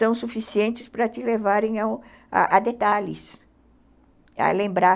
tão suficientes para te levarem a detalhes, a lembrar.